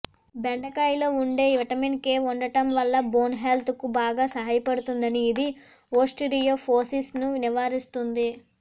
బెండకాయలో ఉండే vitamin K ఉండటం వల్ల బోన్ హెల్త్ కు బాగా సహాయపడుతుంది ఇది ఓస్టిరియోఫోసిస్ ను నివారిస్తుంది